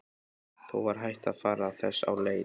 Þó var hætt á að fara þess á leit.